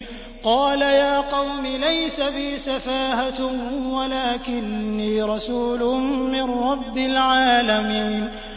قَالَ يَا قَوْمِ لَيْسَ بِي سَفَاهَةٌ وَلَٰكِنِّي رَسُولٌ مِّن رَّبِّ الْعَالَمِينَ